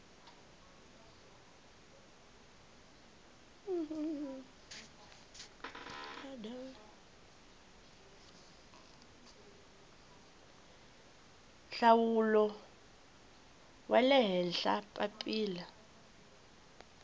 nhlawulo wa le henhla papila